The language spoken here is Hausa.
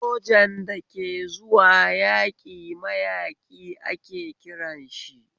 Sojan da ke zuwa yaƙi mayaƙi ake kiranshi